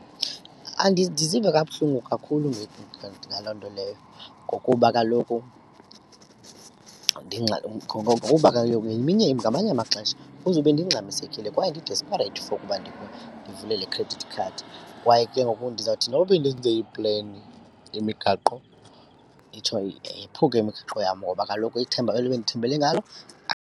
Ndiziva kabuhlungu kakhulu ngaloo nto leyo ngokuba kaloku ngokuba kaloku yeminye ngamanye amaxesha kuzube ndingxamisekile kwaye ndi-desperate for uba ndivule le credit card kwaye ke ngoku ndizawuthi noba bendenze ipleni, imigaqo, itsho yephuke imigaqo yam ngoba kaloku ithemba eli bendithembele ngalo .